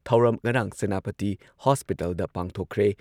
ꯊꯧꯔꯝ ꯉꯔꯥꯡ ꯁꯦꯅꯥꯄꯇꯤ ꯍꯣꯁꯄꯤꯇꯜꯗ ꯄꯥꯡꯊꯣꯛꯈ꯭ꯔꯦ ꯫